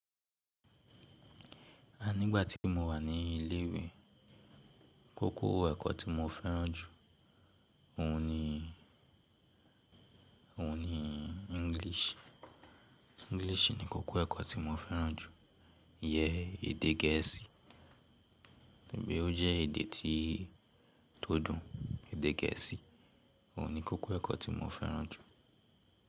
A nígbà tí mo wà ní ilé ìwé, kókó ẹ̀kọ́ tí mo fẹ́ràn jù óun ni, óun ni English. English ni kókó ẹ̀kọ́ tí mo fẹ́ràn jù. Yẹ èdè gẹ̀ẹ́sì, nígbèẹ́ ó jẹ́ èdè tí tó dùn, èdè gẹ̀ẹ́sì óun ni kókó ẹ̀kọ́ tí mo fẹ́ràn jù.